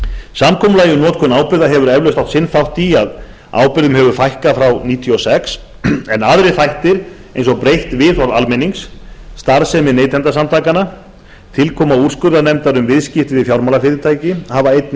samkomulagið um notkun ábyrgða hefur eflaust átt sinn þátt í að ábyrgðum hefur fækkað frá árinu nítján hundruð níutíu og sex en aðrir þættir eins og breytt viðhorf almennings starfsemi neytendasamtakanna og tilkoma úrskurðarnefndar um viðskipti við fjármálafyrirtæki hafa einnig